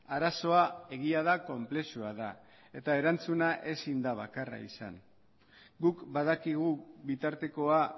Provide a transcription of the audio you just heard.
arazoa egia da konplexua da eta erantzuna ezin da bakarra izan guk badakigu bitartekoa